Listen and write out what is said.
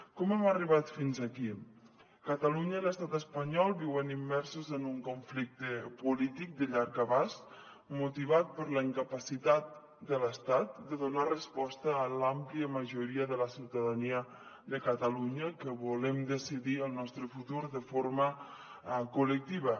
com hem arribat fins aquí catalunya i l’estat espanyol viuen immersos en un conflicte polític de llarg abast motivat per la incapacitat de l’estat de donar resposta a l’àmplia majoria de la ciutadania de catalunya que volem decidir el nostre futur de forma col·lectiva